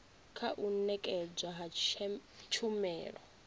kha u nekedzwa ha tshumelo